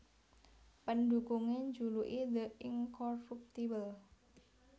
Pendhukungé njuluki The Incorruptible